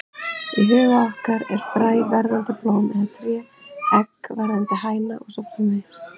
Í huga okkar er fræ verðandi blóm eða tré, egg verðandi hæna og svo framvegis.